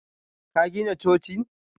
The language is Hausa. Ka gina cocin?